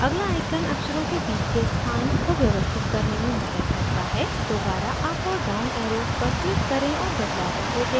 अगला icon अक्षरों के बीच को के स्थान को व्यवस्थित करने में मदद करता है दोबारा अप और down arrows पर click करें और बदलावों को देखें